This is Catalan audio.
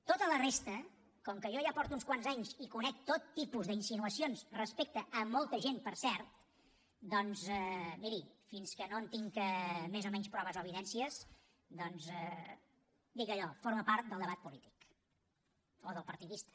tota la resta com que jo ja porto uns quants anys i conec tot tipus d’insinuacions respecte a molta gent per cert doncs miri fins que no en tinc més o menys proves o evidències dic allò forma part del debat polític o del partidista